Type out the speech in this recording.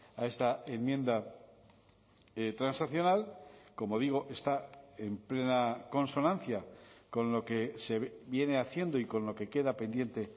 a esta enmienda transaccional como digo está en plena consonancia con lo que se viene haciendo y con lo que queda pendiente